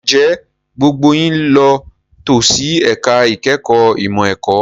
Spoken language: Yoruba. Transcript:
Ǹjẹ́ gbogbo yín ló tò sí ẹ̀ka ìkẹ́kọ̀ọ́ ìmọ̀ ẹ̀kọ́?